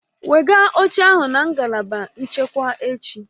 Wegaa oche ahụ na ngalaba nchekwa echi!